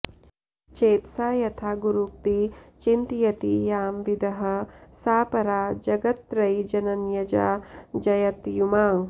चेतसा यथा गुरूक्ति चिन्तयन्ति यां विदः सा परा जगत्त्रयीजनन्यजा जयत्युमा